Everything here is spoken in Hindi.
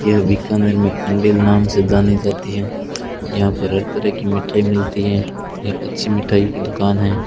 यह बीकानेर में कंडील नाम से जानी जाती हैं यहां पर हर तरह की मिठाई मिलती हैं ये अच्छी मिठाई की दुकान है।